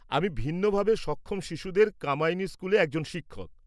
আমি ভিন্নভাবে সক্ষম শিশুদের কামায়িনী স্কুলে একজন শিক্ষক।